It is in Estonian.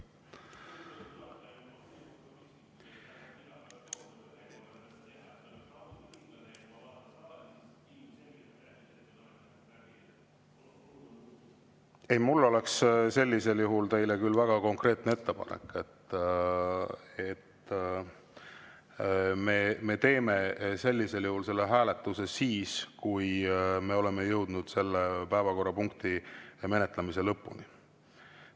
Ei, mul oleks sellisel juhul teile väga konkreetne ettepanek, et me teeme selle hääletuse siis, kui oleme jõudnud selle päevakorrapunkti menetlemise lõpuni.